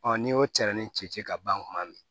n'i y'o tɛrɛnin ci ci ci ka ban kuma min